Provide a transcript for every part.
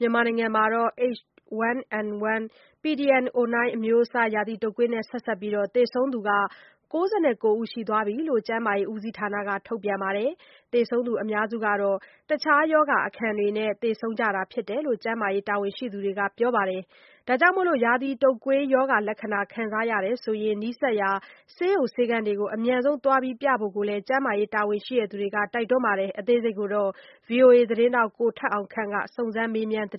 မြန်မာနိုင်ငံမှာ H1N1 pdm09 အမျိုးအစား ရာသီတုပ်ကွေးနဲ့ဆက်စပ်ပြီး သေဆုံးသူ ၉၉ ဦးရှိသွားပြီလို့ ကျန်းမာရေးဦးစီးဌာနက ထုတ်ပြန်ပါတယ်။ သေဆုံးသူ အများစုကတော့ အခြားရောဂါအခံနဲ့ သေဆုံးကြတာဖြစ်တယ်လို့ ကျန်းမာရေးတာဝန်ရှိသူတွေက ပြောပါတယ်။ ဒါကြောင့် ရာသီတုပ်ကွေးရောဂါလက္ခဏာ ခံစားရရင် နီးစပ်ရာ ဆေးရုံဆေးခန်းတွေကို အမြန်ဆုံးပြဖို့ကိုလည်း ကျန်းမာရေးတာဝန်ရှိသူတွေက တိုက်တွန်းပါတယ်။ ဗွီအိုအေ သတင်းထောက် ကိုထက်အောင်ခန့် စုံစမ်းမေးမြန်းထာ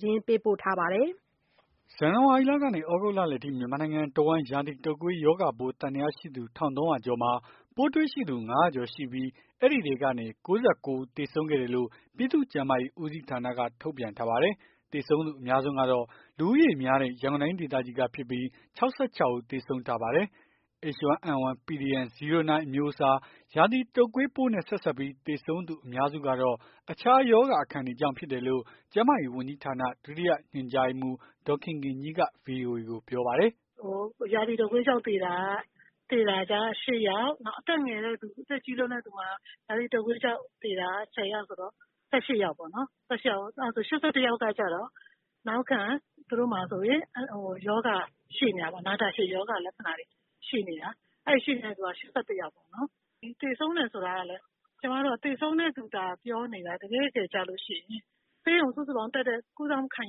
းတာပါ။ ဇန်နဝါရီလကနေ သြဂုတ်လလယ်အထိ မြန်မာနိုင်ငံတဝှမ်း ရာသီတုပ်ကွေး ရောဂါပိုး သံသယရှိသူ ၁၃၀၀ ကျော်မှာ ပိုးတွေ့ရှိသူ ၅၀၀ ကျော်ရှိပြီး အဲဒီထဲကနေ ၉၉ ဦး သေဆုံးခဲ့တယ်လို့ ပြည်သူ့ကျန်းမာရေးဦးစီးဌာနက ထုတ်ပြန်ထားပါတယ်။ သေဆုံးသူအများဆုံးကတော့ လူဦးရေများတဲ့ ရန်ကုန်တိုင်းဒေသကြီးကဖြစ်ပြီး ၆၆ ဦး သေဆုံးထားပါတယ်။ H1N1 pdm09 အမျိုးအစား ရာသီတုပ်ကွေးပိုးနဲ့ဆက်စပ်ပြီး သေဆုံးသူအများစုကတော့ အခြားရောဂါအခံတွေကြောင့်ဖြစ်တယ်လို့ ကျန်းမာရေးဝန်ကြီးဌာန ဒုတိယညွှန်ကြားရေးမှူး ဒေါ်ခင်ခင်ကြီးက ဗွီအိုအေကို ပြောပါတယ်။ "ရာသီတုပ်ကွေးကြောင့်သေတာက ၈ ယောက် အသက်ငယ်လွန်းသူ အသက်ကြီးလွန်သူ ရာသီတုပ်ကွေး ကြောင့်သေတာ ၁၀ ယောက်ဆိုတော့ ၁၈ ယောက်ပေါ့နော်။ ၈၁ ယောက်ကကျတော့ နောက်ခံ သူတို့မှာ ရောဂါ ရှိနေတာပေါ့။ နာတာရှည်ရောဂါ လက္ခဏာတွေရှိနေတာ။ အဲ့ရှိနေတဲ့လူက ၈၁ ယောက်ပေါ့နော်။ သေဆုံးတယ်ဆိုတာ သေဆုံးတဲ့လူသာ ပြောနေတာ တကယ့်တကယ် ဆေးရုံ တက်ရောက် ကုသသူ ၄၀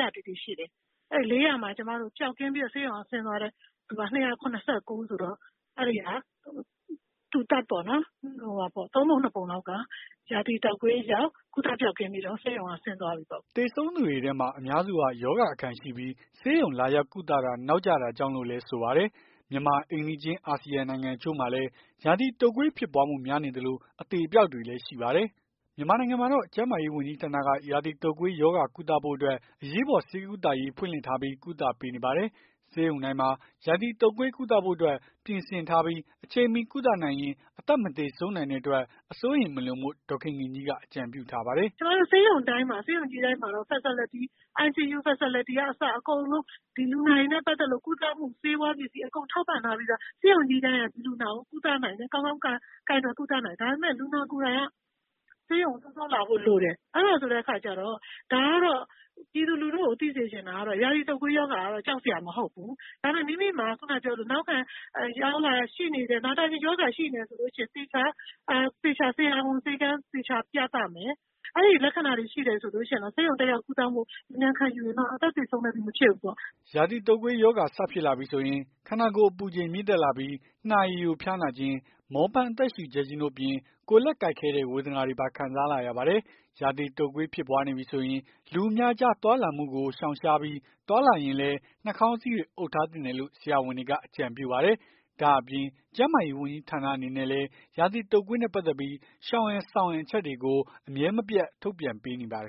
၀ တိတိရှိတယ်။ အဲ့ ၄၀၀ မှာ ပျောက်ကင်းပြီး ဆေးရုံကဆင်းသွားတဲ့လူက ၂၇၉ ဦးဆိုတော့ ၃ ပုံ ၂ ပုံလောက်က ရာသီတုပ်ကွေးကြောင့် ကုသပျောက်ကင်းပြီးတော့ ဆေးရုံက ဆင်းသွားပြီပေါ့။" သေဆုံးသူတွေထဲမှာ အများစုဟာ ရောဂါအခံရှိပြီး ဆေးရုံလာရောက် ကုသတာ နောက်ကျတာကြောင့်လို့ လည်းဆိုပါတယ်။ မြန်မာအိမ်နီးချင်း အာဆီယံနိုင်ငံအချို့မှာလည်း ရာသီတုပ်ကွေးဖြစ်ပွားမှုများနေသလို အသေအပျောက်တွေလည်း ရှိပါတယ်။ မြန်မာနိုင်ငံမှာတော့ ကျန်းမာရေးဝန်ကြီးဌာနက ရာသီတုပ်ကွေး ရောဂါကုသဖို့အတွက် အရေးပေါ် ဆေးကုသပေးရေးဖွင့်လှစ်ထားပြီး ကုသပေးနေပါတယ်။ ဆေးရုံတိုင်းမှာ ရာသီတုပ်ကွေး ကုသဖို့ ပြင်ဆင် ထားပြီး အချိန်မှီကုသနိုင်ရင် အသက်မသေဆုံးနိုင်တဲ့အတွက် အစိုးရိမ်မလွန်ဖို့ ဒေါ်ခင်ခင်ကြီးက အကြံပြုပါတယ်။ "ကျွန်မတို့ဆေးရုံတိုင်းမှာ ဆေးရုံကြီးတိုင်းမှာ Facility ICU အကုန်လုံး လူနာတွေနဲ့ ပတ်သက်လို့ ကုသမှု ဆေးဝါးပစ္စည်း အကုန်ထောက်ပံ့ထားပြီးသား ဆေးရုံကြီးတိုင်းက ဒီလူနာကို ကုသနိုင်တယ်။ ကောင်းကောင်း ကိုင်တွယ်ကုသနိုင်တယ်။ ဒါပေမယ့် လူနာကိုယ်တိုင်က ဆေးရုံကို စောစောလာဖို့ လိုတယ်။ အဲ့ဒါဆိုတဲ့အခါကျတော့ ဒါကတော့ ပြည်သူလူထုကို သိစေချင်တာက ရာသီတုပ်ကွေးရောဂါက ကြောက်စရာ မဟုတ်ဘူး။ ဒါပေမယ့် မိမိမှာ နောက်ခံရောဂါရှိနေမယ်။ နာတာရှည်ရောဂါရှိနေမယ်ဆိုလို့ရှိရင် သေချာ ဆရာဝန် ဆေးခန်း သေချာပြသမယ်။ အဲ့ဒီလက္ခဏာတွေရှိနေတယ်ဆိုရင်တော့ ဆေးရုံမှာ အမြန်ကုသမှုခံယူရင်တော့ အသက်သေဆုံးတဲ့အထိတော့ မဖြစ်ဘူးပေါ့။" ရာသီတုပ်ကွေး ရောဂါစဖြစ်လာပြီဆိုရင် ခန္ဓာကိုယ်အပူချိန်မြင့်တက်လာပြီး နှာရည်ယို ဖျားနာခြင်း မောပန်း အသက်ရှုပ်ကျပ်ခြင်းတို့အပြင် ကိုယ်လက်ကိုက်ခဲတဲ့ ဝေဒနာတွေပါ ခံစားလာရပါတယ်။ ရာသီတုပ်ကွေး ဖြစ်ပွားနေပြီဆိုရင် လူအများကြား သွားလာမှုကို ရှောင်ရှားပြီး သွားလာရင်လည်း နှာခေါင်းစည်းတွေ အုပ်ထားသင့်တယ်လို့ ဆရာဝန်တွေက အကြံပြုပါတယ်။ ဒါ့အပြင် ကျန်းမာရေး ဝန်ကြီးဌာန အနေနဲ့လည်း ရာသီတုပ်ကွေးနဲ့ပတ်သက်ပြီး ရှောင်ရန် ဆောင်ရန် အချက်တွေကို အမြဲမပြတ် ထုတ်ပြန်ပေးနေပါတယ်